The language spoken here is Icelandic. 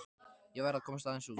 Ég verð að komast aðeins út.